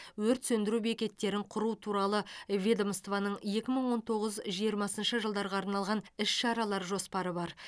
өрт сөндіру бекеттерін құру туралы ведомствоның екі мың он тоғыз жиырмасыншы жылдарға арналған іс шаралар жоспары бар